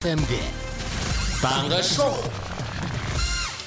эф эм де таңғы шоу